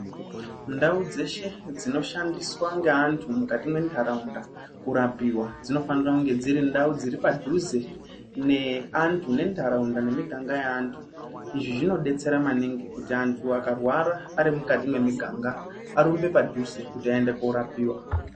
Ndau dzeshe dzinoshandiswa ngeantu mukati mentaraunda kurapiwa dzinofanira kunge dzirindau dziri padhuze neantu nentaraunda nemiganga yeantu. Izvi zvinodetsera maningi kuti antu akarwara arimukati memiganga arumbe padhuze kuti aende koorapiwa.